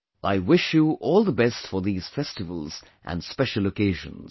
I wish you all the best for these festivals and special occasions